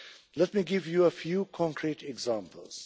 Let me give you a few concrete examples.